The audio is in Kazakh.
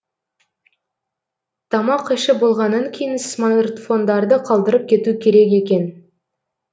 тамақ ішіп болғаннан кейін смартфондарды қалдырып кету керек екен